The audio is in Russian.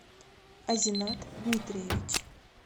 азинат дмитриевич